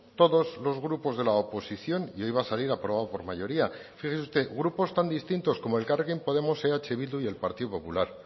todos los grupos de la oposición y hoy va a salir aprobado por mayoría fíjese usted grupos tan distintos como elkarrekin podemos eh bildu y el partido popular